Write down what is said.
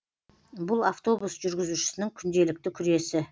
бұл автобус жүргізушісінің күнделікті күресі